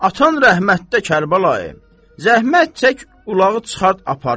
Atan rəhmətdə, Kərbəlayi, zəhmət çək ulağı çıxart aparım.